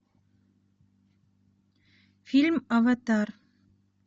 фильм аватар